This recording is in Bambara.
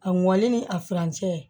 A mɔni ni a furancɛ